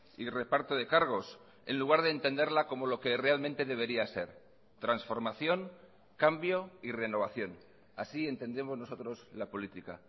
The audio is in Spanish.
y reparto de cargos en lugar de entenderla como lo que realmente debería ser transformación cambio y renovación así entendemos nosotros la política